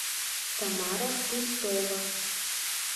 тамара христова